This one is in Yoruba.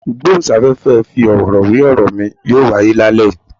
Ìgbóhùn sáfẹ́fẹ́ ìfi ọ̀rọ̀ wé ọ̀rọ̀ mi yóò wáyé lálẹ́ yìí.